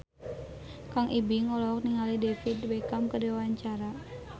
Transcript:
Kang Ibing olohok ningali David Beckham keur diwawancara